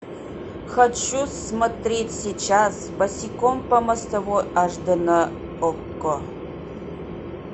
хочу смотреть сейчас босиком по мостовой аш дэ на окко